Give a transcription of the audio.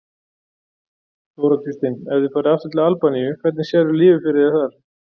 Þóra Kristín: Ef þið farið aftur til Albaníu, hvernig sérðu lífið fyrir þér þar?